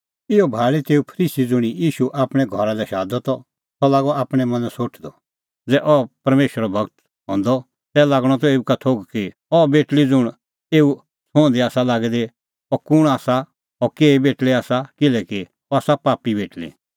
इहअ भाल़ी तेऊ फरीसी ज़ुंणी ईशू आपणैं घरा लै शादअ त सह लागअ आपणैं मनैं सोठदअ ज़ै अह परमेशरो गूर हंदअ तै लागणअ त एऊ का थोघ कि अह बेटल़ी ज़ुंण एऊ छुंहदी आसा लागी दी अह कुंण आसा और अह केही बेटल़ी आसा किल्हैकि अह आसा पापी बेटल़ी